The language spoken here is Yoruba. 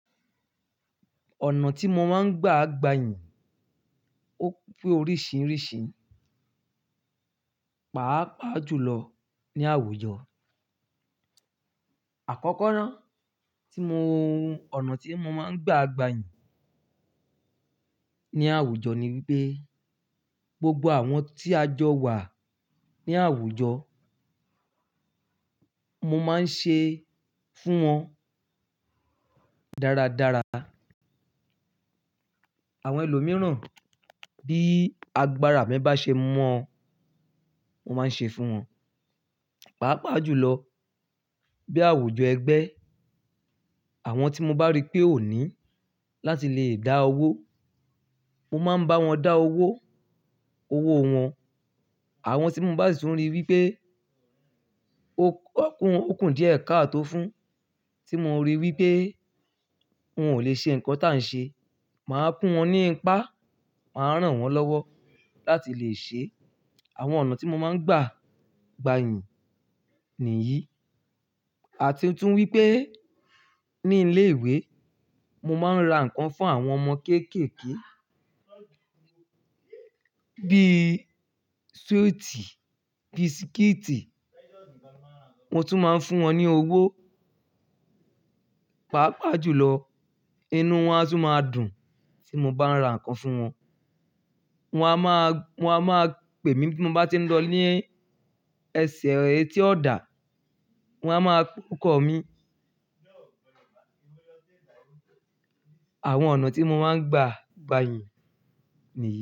Ọ̀nà tí mo máa ń gba gbàyìn ó pé oríṣìíríṣìí, pàápàá jùlọ ní àwùjọ. Àkọ́kọ́ náà tí mo, ọ̀nà tí mo máa ń gba àgbàyìn ní àwùjọ ni wipé gbogbo àwọn tí a jọ wà ní àwùjọ, mo máa ń ṣe fún wọn dáradára. Àwọn ẹlòmíràn bí agbára mí bá ṣe mọn, mo máa ń ṣe fún wọn. Pàápàá jùlọ bí àwùjọ ẹgbẹ́, àwọn tí mo bá rí pé ó ní láti le dá owó, mo máa ń bá wọn dá owó, owó wọn. Àwọn tí mo bá sì tuń rí wí pé ó kún díẹ̀ ká tó fún, tí mo rí wí pé wọn ò lè ṣe nǹkan tí à ń ṣe, màá fún wọn ní ipá, màá ràn wọ́n lọ́wọ́ láti lè ṣe. Àwọn ọ̀nà tí mo máa ń gba àgbàyìn nìyí. A ti tún wí pé ní ilé ìwé, mo máa ń ra nǹkan fún àwọn ọmọ kéékèèké bí sweet, bí biscuit. Mo tún máa ń fún wọn ní owó. Pàápàá jùlọ, inú wọn a tún máa dùn tí mo bá ń ra nǹkan fún wọn. Wọn a máa, wọ́n a máa pè mí bí mo bá ti ń lọ ní ẹsẹ̀ etí ọ̀dà, wọ́n a máa poóko mi. Àwọn ọ̀nà tí mo máa ń gba gbàyìn nìyí.